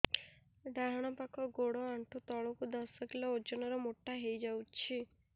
ଡାହାଣ ପାଖ ଗୋଡ଼ ଆଣ୍ଠୁ ତଳକୁ ଦଶ କିଲ ଓଜନ ର ମୋଟା ହେଇଯାଇଛି